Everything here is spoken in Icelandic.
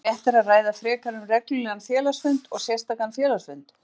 væri réttara að ræða frekar um reglulegan félagsfund og sérstakan félagsfund.